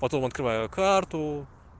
потом открываю карту